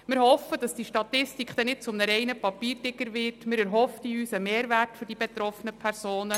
Wir hoffen, dass diese Statistik nicht zu einem reinen Papiertiger wird und erhoffen uns auch einen Mehrwert für die betroffenen Personen.